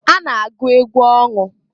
A na -agụ egwu ọṅụ.